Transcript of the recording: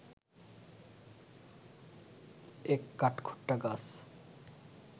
এক কাঠখোট্টা গাছ